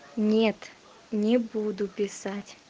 нет не буду писать